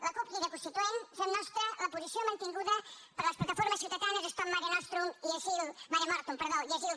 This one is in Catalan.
la cup crida constituent fem nostra la posició mantinguda per les plataformes ciutadanes stop mare mortum i asil